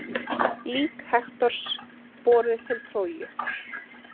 Lík Hektors borið til Tróju.